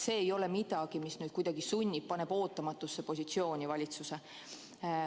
See ei ole midagi sellist, mis paneks valitsuse ootamatusse positsiooni.